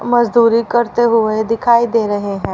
मजदूरी करते हुए दिखाई दे रहे हैं।